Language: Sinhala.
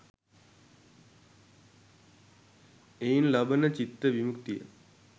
එයින් ලබන චිත්ත විමුක්තිය